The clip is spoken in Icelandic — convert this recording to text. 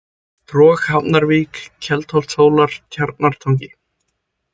Trog, Hafnarvík, Keldholtshólar, Tjarnartangi